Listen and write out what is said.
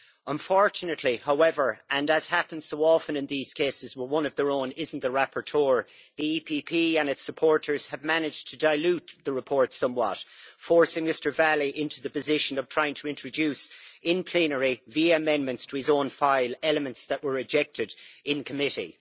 Unfortunately, however, and as happens so often in these cases where one of their own isn't the rapporteur, the EPP and its supporters have managed to dilute the report somewhat, forcing Mr Valli into the position of trying to introduce in plenary, via amendments to his own file, elements that were rejected in committee.